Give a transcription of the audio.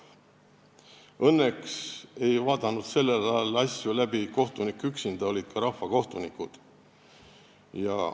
Õnneks ei vaadanud sellel ajal asju läbi kohtunik üksinda, olid ka rahvakohtunikud.